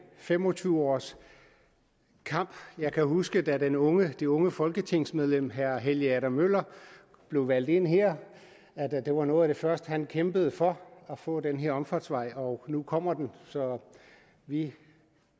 fem og tyve års kamp og jeg kan huske at da det unge det unge folketingsmedlem herre helge adam møller blev valgt ind her var noget af det første han kæmpede for at få den omfartsvej og nu kommer den så vi